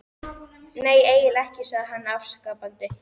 Nei, eiginlega ekki, sagði hann afsakandi.